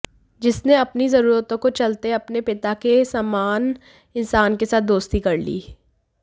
जिसने अपनी जरूरतों को चलते अपने पिता के समान इंसान के साथ दोस्ती कर ली